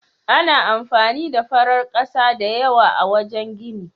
Ana amfani da farar ƙasa da yawa a wajen gini.